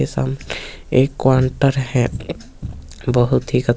ये साम एक कोंटर है बहुत ही ख --